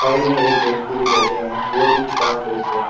Side में एक व्यक्ति भी बैठे हैं वो भी किताब बेच रहे हैं।